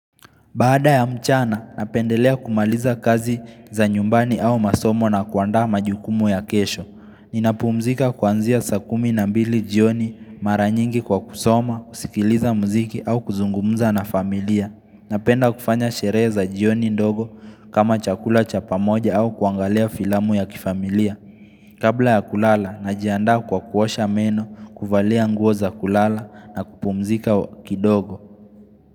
Baada ya mchana, napendelea kumaliza kazi za nyumbani au masomo na kuandaa majukumu ya kesho. Nina puumzika kuanzia sakumi na mbili jioni mara nyingi kwa kusoma, usikiliza mziki au kuzungumza na familia. Napenda kufanya sherehe za jioni ndogo kama chakula chapa moja au kuangalia filamu ya kifamilia. Kabla ya kulala, najianda kwa kuosha meno, kufalia nguo za kulala na kupumzika kidogo.